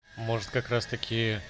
может как раз таки